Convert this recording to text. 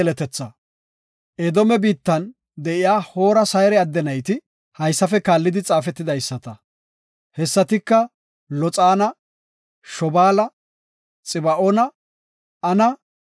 Edoome biittan de7iya Hoora Sayre adde nayti haysafe kaallidi xaafetidaysata; hessatika Loxaana, Shobaala, Xiba7oona, Ana,